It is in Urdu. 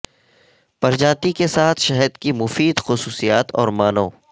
پرجاتی کے ساتھ شہد کی مفید خصوصیات اور معنوں